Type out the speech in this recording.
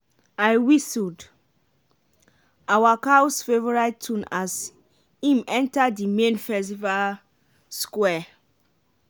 i whistled awa cow’s favourite tune as im enta di main festival square